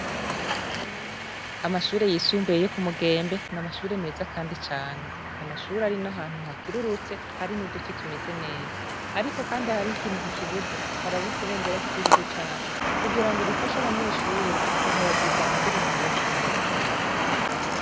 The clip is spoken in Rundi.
Amashure yisumbuye yo ku Mugembe ni amashure meza Kandi cane ,ni amashure ari na hantu hakirurutse ariko hari nuduti tumeze neza ariko hari ikintu kikibuze harabuze ibendera ry'igihugu cacu kugirango rifashe abanyeshure kuhayagiza indirimbo ihayagiza igihugu cacu.